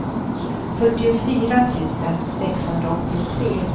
fyrtiofyra tusen sexhundraåttiotre